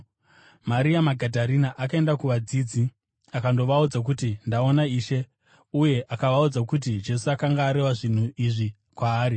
Maria Magadharena akaenda kuvadzidzi akandovaudza kuti, “Ndaona Ishe!” Uye akavaudza kuti Jesu akanga areva zvinhu izvi kwaari.